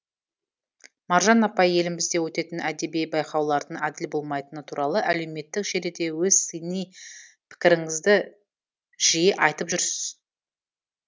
маржан апай елімізде өтетін әдеби байқаулардың әділ болмайтыны туралы әлеуметтік желіде өз сыни пікіріңізді жиі айтып жүрсіз